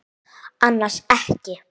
Annars ekki.